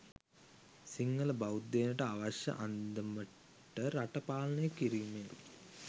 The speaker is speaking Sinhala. සිංහල බෞද්ධයනට අවශ්‍ය අන්දමට රට පාලනය කිරීම ය